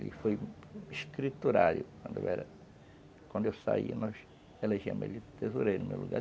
Ele foi escriturário quando eu era... Quando eu saí, nós elegemos, ele tesourei no meu lugar.